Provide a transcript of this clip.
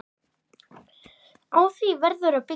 Á því verður að byggja.